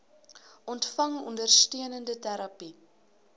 ontvang ondersteunende terapie